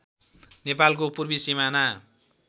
नेपालको पूर्वी सिमाना